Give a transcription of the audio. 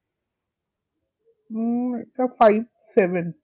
হম এটা five seven